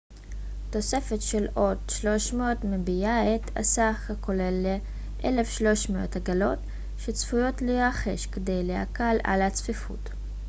תוספת של עוד 300 מביאה את הסך הכולל ל-1300 עגלות שצפויות להירכש כדי להקל על הצפיפות